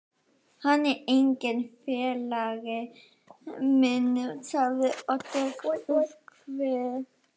Hann er enginn félagi minn sagði Oddur þver